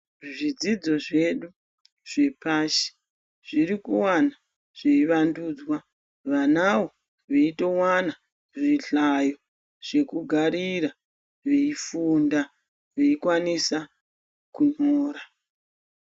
Zvidzidzo zvedu zvepashi zviri kuramba zveivandudzwa vanawo veitowana zvihlayo zvekugarira veifunda veikwanisa kunyora.